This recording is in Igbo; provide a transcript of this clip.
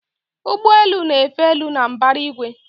Ụgbọ elu na-efe elu na mbara igwe